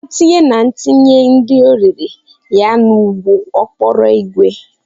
Mama tinye na etinye nri orire ya n'ụgbọ okporo ígwè.